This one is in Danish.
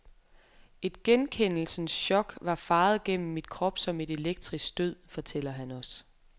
Et genkendelsens chok var faret gennem min krop som et elektrisk stød, fortæller han os.